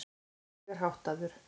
Ég er háttaður.